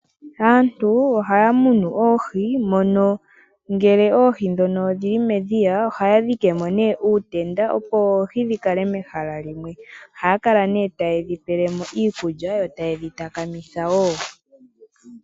Aantu ohaya munu oohi mono ngele oohi dhono odhili medhiya ohaya dhikemo nee uutenda opo oohi dhikale mehala limwe. Ohaya kala nee taye dhipelemo iikulya yo tayedhi takamitha woo.